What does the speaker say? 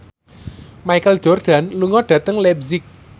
Michael Jordan lunga dhateng leipzig